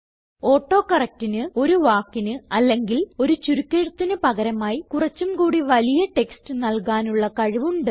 auto correctന് ഒരു വാക്കിന് അല്ലെങ്കിൽ ഒരു ചുരുക്കെഴുത്തിന് പകരമായി കുറച്ചും കൂടി വലിയ ടെക്സ്റ്റ് നല്കാനുള്ള കഴിവ് ഉണ്ട്